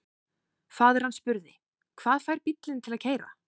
Faðir hann spurði: Hvað fær bílinn til að keyra?